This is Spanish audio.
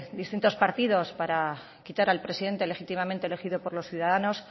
distintos partidos para quitar al presidente legítimamente elegido por los ciudadanos